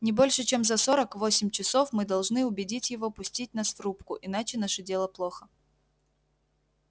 не больше чем за сорок восемь часов мы должны убедить его пустить нас в рубку иначе наше дело плохо